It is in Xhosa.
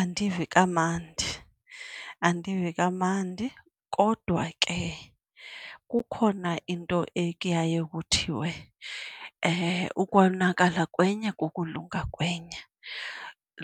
Andivi kamandi, andivi kamandi kodwa ke kukhona into ekuye kuthiwe ukonakala kwenye kukulunga kwenye.